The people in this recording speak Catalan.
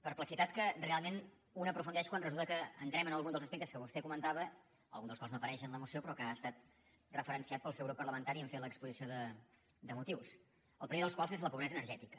perplexitat que realment un aprofundeix quan resulta que entrem en alguns dels aspectes que vostè comentava alguns dels quals no apareixen en la moció però que han estat referenciats pel seu grup parlamentari en fer l’exposició de motius el primer dels quals és la pobresa energètica